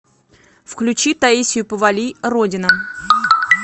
включи таисию повалий родина